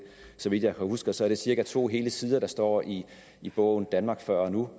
så vidt jeg husker er det cirka to hele sider der står i i bogen danmark før og nu